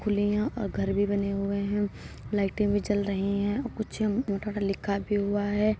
खुले यहाँ और घर भी बने हुए है। लाइटें भी जल रही हैं और कुछ लिखा भी हुआ है।